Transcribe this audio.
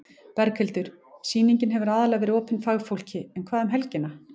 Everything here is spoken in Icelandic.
Berghildur: Sýningin hefur aðallega verið opin fagfólki en hvað um helgina?